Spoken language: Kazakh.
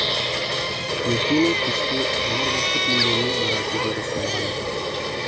ерте ме кеш пе жұмыр басты пенденің баратын жері сол ғана